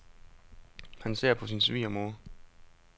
Han ser på sin svigermor.